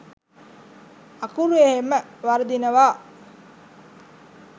අකුරු එහෙම වරදිනවා.